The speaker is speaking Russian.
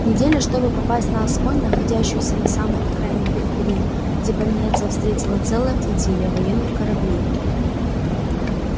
неделя чтобы попасть на асконь находящуюся на самой окраине периферии где пониетса встретила целая флотилия военных кораблей